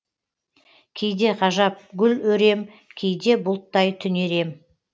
кейде ғажап гүл өрем кейде бұлттай түнерем